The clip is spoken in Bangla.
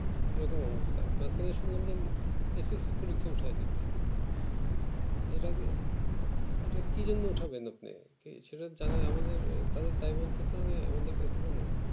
এরকম অবস্থায় না তো শুনলাম SSC পরীক্ষাও সে দেবে এটাও এটাও কি জন্যে ওঠা বন্ধ সেটা জানা আমাদের দায়বদ্ধতা নেই আমাদের কাছে কোনো